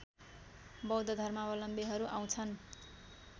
बौद्ध धर्मावलम्बीहरू आउँछन्